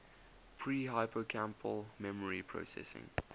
pre hippocampal memory processing